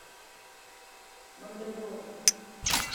мандрагора